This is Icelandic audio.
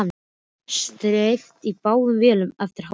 Steypt í báðum vélum eftir hádegi.